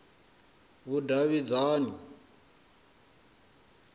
vhudavhidzani